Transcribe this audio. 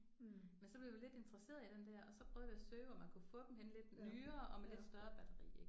Men så blev vi lidt interesserede i den der og så prøvede vi at søge hvor man kunne få dem henne lidt nyere og med lidt større batteri ik